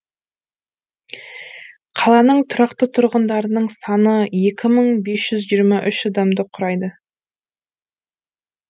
қаланың тұрақты тұрғындарының саны екі мың бес жүз жиырма үш адамды құрайды